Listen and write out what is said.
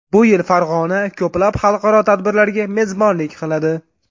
Bu yil Farg‘ona ko‘plab xalqaro tadbirlarga mezbonlik qiladi.